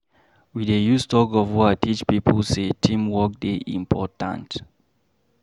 We dey use tug-of-war teach pipo sey team work dey important.